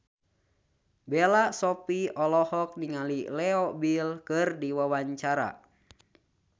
Bella Shofie olohok ningali Leo Bill keur diwawancara